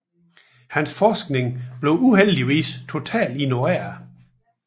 Hans forskningen blev uheldigvis totalt ignoreret